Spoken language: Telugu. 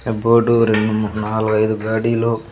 ఆ బోర్డు రెండు మూడు-- నాలుగు ఐదు గాడిలో.